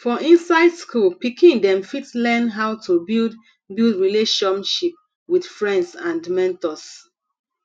for inside school pikin dem fit learn how to build build relatiomship with friends and mentors